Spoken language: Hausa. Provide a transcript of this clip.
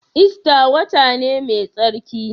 Ista wata ne mai tsarki?